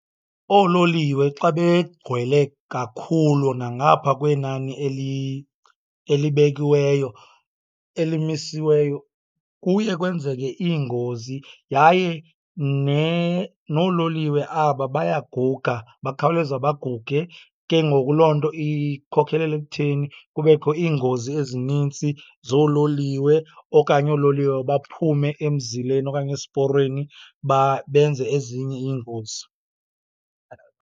Oololiwe xa begcwele kakhulu nangapha kwenani elibekiweyo, elimisiweyo, kuye kwenzeke iingozi. Yaye noololiwe aba bayaguga, bakhawuleza baguge, ke ngoku loo nto ikhokelele ekutheni kubekho iingozi ezinintsi zoololiwe okanye oololiwe baphume emzileni okanye esiporweni benze ezinye iingozi.